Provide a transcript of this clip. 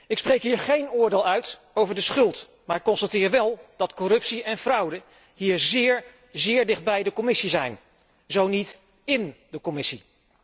Ik spreek hier geen oordeel uit over de schuld, maar ik constateer wel dat corruptie en fraude hier zeer, zeer dicht bij de Commissie zijn, zo niet ín de Commissie.